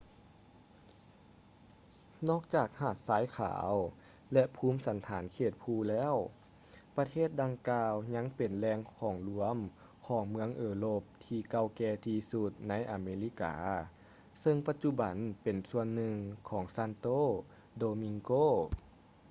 ນອກຈາກຫາດຊາຍຂາວ ແລະ ພູມສັນຖານເຂດພູແລ້ວ ປະເທດດັ່ງກ່າວຍັງເປັນແຫຼ່ງລວມຂອງເມືອງເອີຣົບທີ່ເກົ່າແກ່ທີ່ສຸດໃນອາເມລິກາ ເຊິ່ງປະຈຸບັນເປັນສ່ວນໜຶ່ງຂອງ santo domingo